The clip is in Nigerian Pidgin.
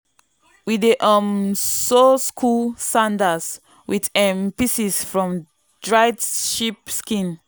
we dey um sew school sandals with um pieces from dried sheep skin.